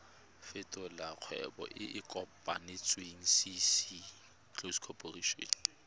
fetolela kgwebo e e kopetswengcc